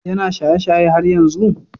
Is he still drinking?